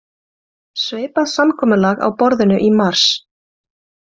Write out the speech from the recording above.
Svipað samkomulag á borðinu í mars